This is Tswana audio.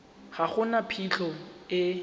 ga go na phitlho e